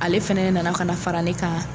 Ale fana ne nana ka na fara ne kan.